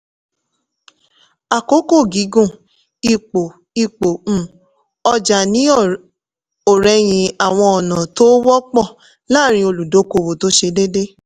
àkókò-gígùn ipò ipò um ọjà ní ọ̀rẹ̀yìn àwọn ọ̀nà tó wọ́pọ̀ láàrín olùdókòwò tó ṣe déédéé.